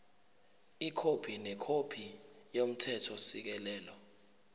ikhophi nekhophi yomthethosisekelo